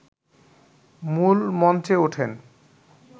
মূল মঞ্চে ওঠেন